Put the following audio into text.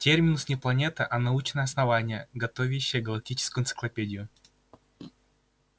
терминус не планета а научное основание готовящее галактическую энциклопедию